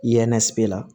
I ye la